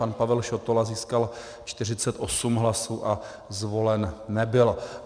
Pan Pavel Šotola získal 48 hlasů a zvolen nebyl.